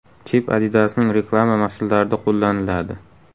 Chip Adidas’ning reklama maqsadlarida qo‘llaniladi.